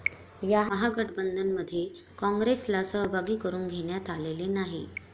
या महागठबंधनमध्ये कॉंग्रेसला सहभागी करून घेण्यात आलेले नाही.